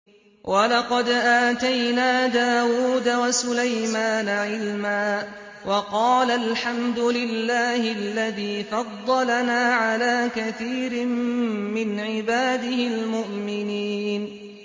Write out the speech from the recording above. وَلَقَدْ آتَيْنَا دَاوُودَ وَسُلَيْمَانَ عِلْمًا ۖ وَقَالَا الْحَمْدُ لِلَّهِ الَّذِي فَضَّلَنَا عَلَىٰ كَثِيرٍ مِّنْ عِبَادِهِ الْمُؤْمِنِينَ